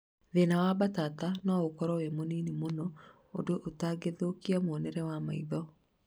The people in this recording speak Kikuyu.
Thĩna wa mbatata no ũkorwo wĩ mũnini mũno ũndũ ũtagũthũkia mũonere wa maitho